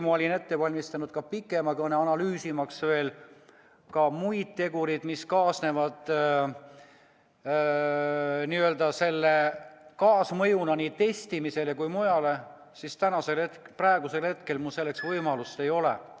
Ma olin ette valmistanud pikema kõne, analüüsimaks ka muid tegureid, mis kaasnevad selle nii testimisele kui ka mujale, kuid praegusel hetkel mu selle enam võimalust ei ole.